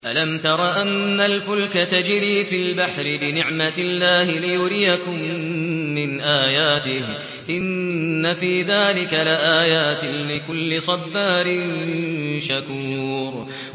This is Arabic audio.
أَلَمْ تَرَ أَنَّ الْفُلْكَ تَجْرِي فِي الْبَحْرِ بِنِعْمَتِ اللَّهِ لِيُرِيَكُم مِّنْ آيَاتِهِ ۚ إِنَّ فِي ذَٰلِكَ لَآيَاتٍ لِّكُلِّ صَبَّارٍ شَكُورٍ